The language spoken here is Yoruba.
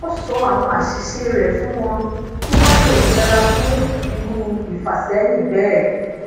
ó sọ àwọn àṣìṣe re fún wọn kí wọn le yera fun iru ifaseyin bee